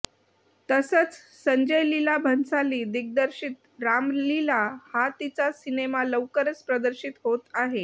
तसंच संजय लीला भन्साली दिग्दर्शित रामलीला हा तिचा सिनेमा लवकरच प्रदर्शित होत आहे